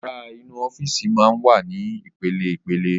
Yàrá inú Ọ́fíìsì máa ń wà ní ìpele ìpele